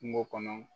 Kungo kɔnɔ